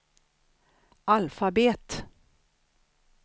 alfabet